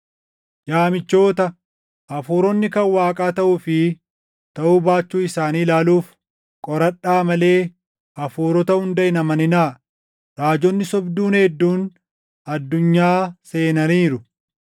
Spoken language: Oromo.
Yaa michoota, hafuuronni kan Waaqaa taʼuu fi taʼuu baachuu isaanii ilaaluuf qoradhaa malee hafuurota hunda hin amaninaa; raajonni sobduun hedduun addunyaa seenaniiru.